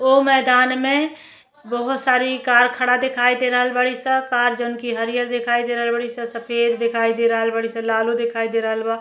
ओ मैंदान में बोहोत सारी कार खड़ा देखाई दे रहल बाड़ी स। कार जोन की हरियर दिखाई दे रहल बाड़ी स सफेद देखाई दे रह बाड़ी स लालो देखाई दे रहल बा।